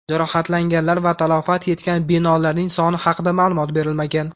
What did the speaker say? Jarohatlanganlar va talafot yetgan binolarning soni haqida ma’lumot berilmagan.